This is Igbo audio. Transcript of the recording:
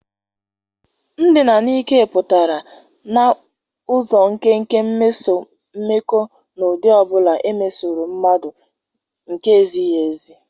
Ndina n'ike pụtara na-ụzọ nkeke mmeso mmekọ n'ụdị ọ bụla emesoro mmadụ nke ezighị ezi.